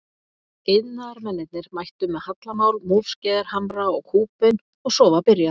Iðnaðarmennirnir mættu með hallamál, múrskeiðar, hamra og kúbein og svo var byrjað.